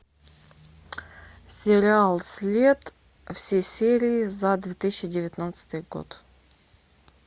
сериал след все серии за две тысячи девятнадцатый год